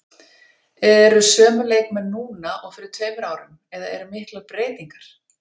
Eru sömu leikmenn núna og fyrir tveimur árum eða eru miklar breytingar?